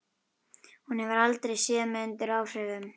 Hún hefur aldrei séð mig undir áhrifum.